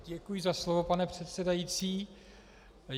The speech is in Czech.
Děkuji za slovo, pane předsedající.